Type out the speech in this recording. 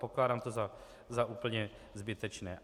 Pokládám to za úplně zbytečné.